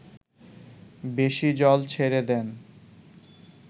বেশি জল ছেড়ে দেন